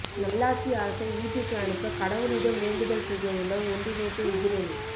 நல்லாட்சி அரசை வீட்டுக்கு அனுப்ப கடவுளிடம் வேண்டுதல் செய்யவுள்ள ஒன்றிணைந்த எதிரணி